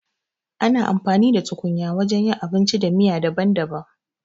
Ana amfani da tukunya wajen yin abinci da miya daban-daban.